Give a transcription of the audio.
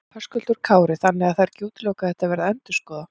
Höskuldur Kári: Þannig að það er ekki útilokað að þetta verði endurskoðað?